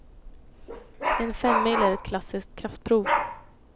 En femmil är ett klassiskt kraftprov.